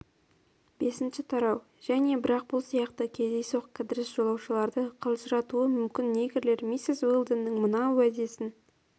бесінші тарау және бірақ бұл сияқты кездейсоқ кідіріс жолаушыларды қалжыратуы мүмкін негрлер миссис уэлдонның мына уәдесін